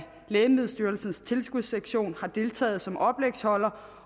lægemiddelstyrelsens tilskudssektion har deltaget som oplægsholder